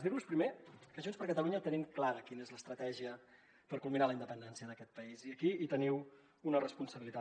dir vos primer que a junts per catalunya tenim clara quina és l’estratègia per culminar la independència d’aquest país i aquí hi teniu una responsabilitat